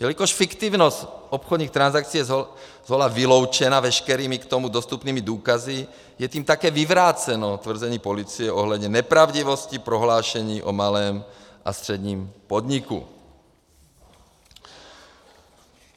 Jelikož fiktivnost obchodních transakcí je zhola vyloučena veškerými k tomu dostupnými důkazy, je tím také vyvráceno tvrzení policie ohledně nepravdivosti prohlášení o malém a středním podniku.